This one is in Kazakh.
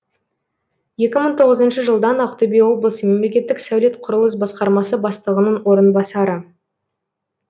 екі мың тоғызыншы жылдан ақтөбе облысы мемлекеттік сәулет құрылыс басқармасы бастығының орынбасары